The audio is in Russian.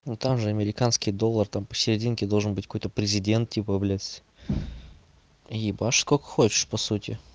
ну там же американский доллар там посерединке должен быть какой-то президент типа блять ебаш сколько хочешь по сути